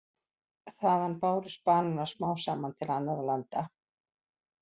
Þaðan bárust bananar smám saman til annarra landa.